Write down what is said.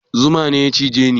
Zuma ne ya cije ni